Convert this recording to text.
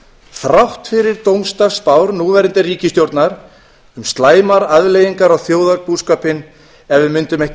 þrátt fyrir dómsdagsspár núverandi ríkisstjórnar um slæmar afleiðingar á þjóðarbúskapinn ef við mundum ekki